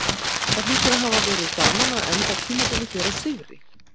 Það hlýtur að hafa verið gaman að enda tímabilið hér á sigri?